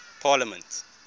parliament